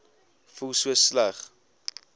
voel so sleg